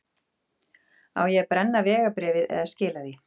Á ég að brenna vegabréfið eða skila því?